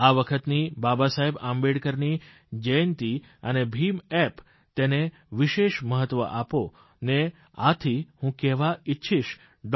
આ વખતની બાબાસાહેબ આંબેડકરની જયંતિ અને ભીમ એપ તેને વિશેષ મહત્વ આપો ને આથી હું કહેવા ઇચ્છીશ ડૉ